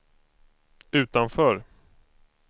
utanför